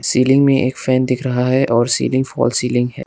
Ceiling में एक fan दिख रहा है और सीलिंग फाल सीलिंग है।